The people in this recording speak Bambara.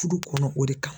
Furu kɔnɔ o de kan